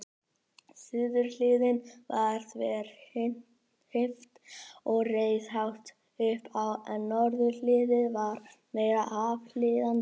Suðurhliðin var þverhnípt og reis hátt upp en norðurhliðin var meira aflíðandi.